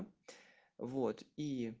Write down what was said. вот и